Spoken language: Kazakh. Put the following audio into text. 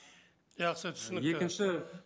жақсы түсінікті екінші